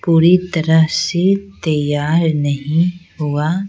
पूरी तरह से तैयार नहीं हुआ --